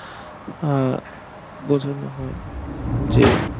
আহ বোঝানো হয় যে